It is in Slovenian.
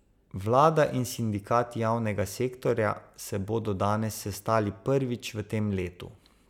Vlada in sindikati javnega sektorja se bodo danes sestali prvič v tem letu.